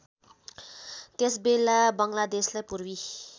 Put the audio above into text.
त्यसबेला बङ्गलादेशलाई पूर्वी